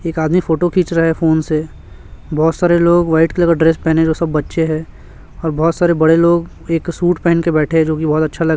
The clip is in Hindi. एक आदमी फोटो खिंच रहा है फोन से बहोत सारे लोग व्हाइट कलर का ड्रेस पहने है जो सब बच्चे है और बहोत सारे बड़े लोग एक सूट पेहन के बैठे है जो कि बहोत अच्छा --